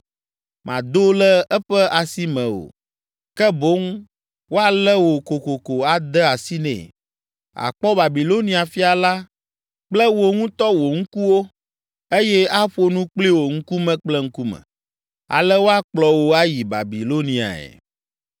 Màdo le eƒe asi me o, ke boŋ woalé wò kokoko ade asi nɛ. Àkpɔ Babilonia fia la kple wò ŋutɔ wò ŋkuwo eye aƒo nu kpli wò ŋkume kple ŋkume. Ale woakplɔ wò ayi Babiloniae.